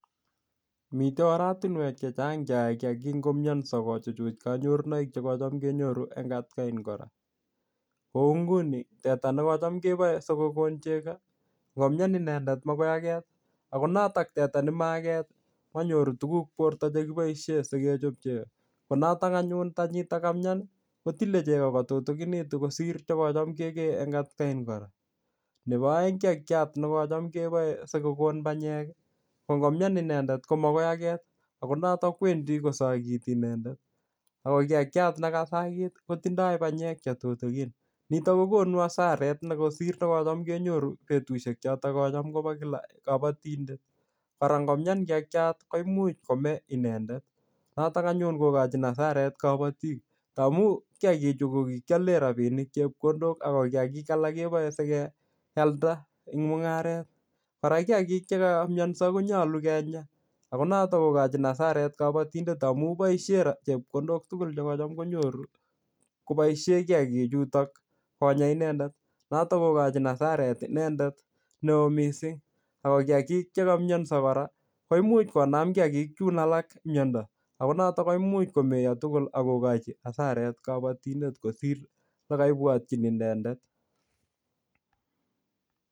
Mitei oratunwek chechang' che yae kiyagik ngomyanso kochuchuch kanyornoik che kocham kenyoru eng atkain kora. Kou nguni, teta nekocham kebae sikokon chego, ngomyan inendet magoi aget. Ako notok teta ne ma aget, manyoru tuguk borto che keboisie sikechop chego. Ko notok anyun tanyitok kamyan kotile chego kotutukinitu kosir chekocham kekee eng atakain kora. Nebo aeng kiyagiat ne kocham kebae sikokon panyek, ko ngomyan inendet ko magoi aget. Ako notok kwendi kosagiti inendet. Ako kiyagiat ne kasagit, kotindoi panyek che tutukin. Nitok kokonu asaret ne kosir ne kocham kenyoru betushek chotok kocham koba kila kabatindet. Kora ngomyan kiyagiat, koimuch kome inendet. Notok anyun kokochin hasaret kabatik. Ta amu kiyagik chu ko kikiale rabinik chepkondok ako kiyagik alak kebae sikealda eng mung'aret. Kora kiyagik che kamyanso konyolu kenyaa. Ako notok kokochin hasaret kabatindet amu boisie chepkondok tugul che kocham konyoru, koboisie kiyagiik chutok konyaa inendet. Notok kokochin hasaret inendet neoo missing. Ako kiyagiik che kamyanso kora, koimuch konam kiyagiik chun alak myondo. Ako notok koimuch komeyoo tugul akokochi hasaret kabatindet kosir ole kaibwotchin inendet